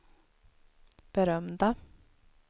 berömda